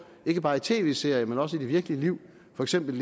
ikke bare i tv serier men også i det virkelige liv for eksempel